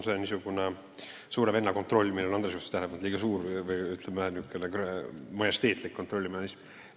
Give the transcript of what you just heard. See on niisugune suure venna kontroll, millele Andres juhtis tähelepanu kui liiga suurele või, ütleme, majesteetlikule kontrollimehhanismile.